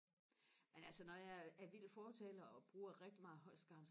men altså når jeg er vild fortaler og bruger rigtig meget Holst Garn